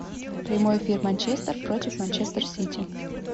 прямой эфир манчестер против манчестер сити